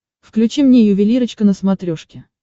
включи мне ювелирочка на смотрешке